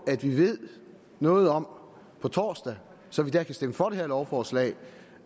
at vi ved noget om på torsdag så vi kan stemme for det her lovforslag